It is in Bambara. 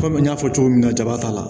Kɔmi n y'a fɔ cogo min na jaba t'a la